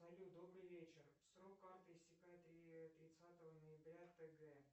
салют добрый вечер срок карты истекает тридцатого ноября т г